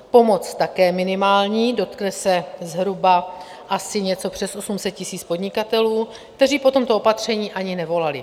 Pomoc také minimální, dotkne se zhruba asi něco přes 800 tisíc podnikatelů, kteří po tomto opatření ani nevolali.